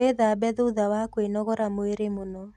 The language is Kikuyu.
Wĩthambe thutha wa kwĩnogora mwĩrĩ mũno